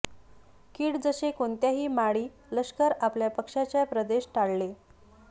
कीड जसे कोणत्याही माळी लष्कर आपल्या पक्षाच्या प्रदेश टाळले